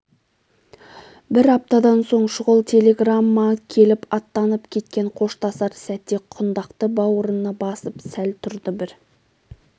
бір аптадан соң шұғыл телеграмма келіп аттанып кеткен қоштасар сәтте құндақты бауырына басып сәл тұрды бір